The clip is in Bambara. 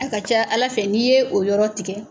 A ka ca Ala fɛ n'i ye o yɔrɔ tigɛ